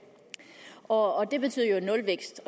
og at det jo betyder nulvækst